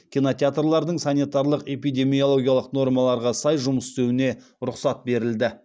кинотеатрлардың санитарлық эпидемиологиялық нормаларға сай жұмыс істеуіне рұқсат берілді